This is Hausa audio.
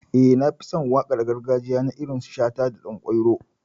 Eh, Na fi son waƙar gargajiya na irin su shata, danƙwairo.